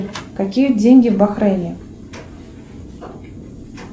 какие деньги в бахрейне